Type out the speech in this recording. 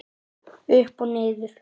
Upp og niður